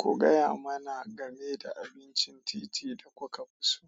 Ku gaya mana game da abincin titi da kuka fi so.